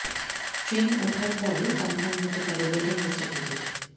ট্রেনে ওঠার পরেও কনফার্ম হতে পারে ওয়েটিং লিস্টের টিকিট